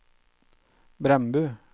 Brandbu